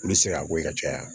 Olu bɛ se ka bɔ yen ka caya